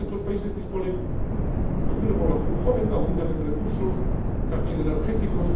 Muchos de estos países disponen de una población joven y abundan en recursos, también energéticos.